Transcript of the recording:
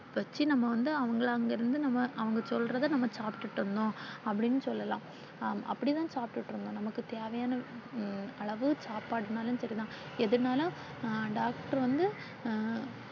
first நாம வந்து அவங்கள அங்கிருந்து நாம அவங்க சொல்றத நாம சாப்ட்டுட்டு இருந்தோம் அப்பிடினு சொல்லலாம் அப்பிடித்தான் சாப்ட்டுட்டு இருந்தோம் நமக்கு தேவையான உம் அதாவது சாப்பாடுனாலும் சரிதான் எதுனாலும் அஹ் டாக்டர் வந்து அஹ்